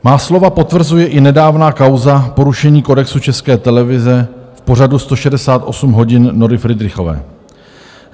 Má slova potvrzuje i nedávna kauza porušení kodexu České televize v pořadu 168 hodin Nory Fridrichové.